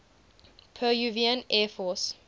peruvian air force